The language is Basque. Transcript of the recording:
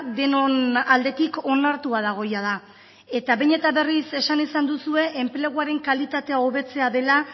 denon aldetik onartua dago jada eta behin eta berriz esan izan duzue enpleguaren kalitatea hobetzea dela